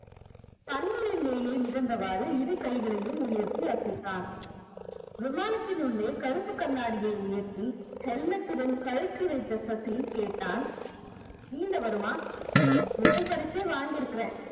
தண்ணீரின் மேலே மிதந்தவாறு இரு கைகளையும் உயர்த்தி அசைத்தான் விமானத்தின் உள்ளே கருப்புக் கண்ணாடியை உயர்த்தி helmet டுடன் கழற்றி வைத்த சசி கேட்டான் நீந்த வருமா முதல் பரிசே வாங்கி இருக்கிறேன்